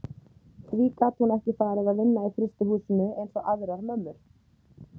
Því gat hún ekki farið að vinna í frystihúsinu eins og aðrar mömmur?